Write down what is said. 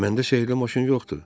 Məndə sehrli maşın yoxdur.